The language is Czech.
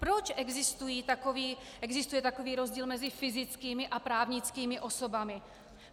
Proč existuje takový rozdíl mezi fyzickými a právnickými osobami?